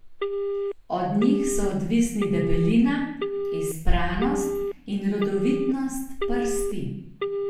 Od njih so odvisni debelina, izpranost in rodovitnost prsti.